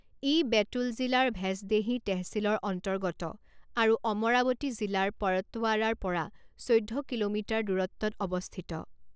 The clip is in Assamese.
ই বেতুল জিলাৰ ভেঁচদেহী টেহচিলৰ অন্তৰ্গত আৰু অমৰাৱতী জিলাৰ পৰতৱাড়াৰ পৰা চৈধ্য কিলোমিটাৰ দূৰত্বত অৱস্থিত।